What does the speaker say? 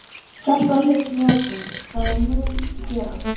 Kjartan Hreinn Njálsson: Það er það mun gerast?